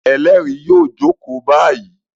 Ẹlẹ́rìí yóò jókòó báyìí!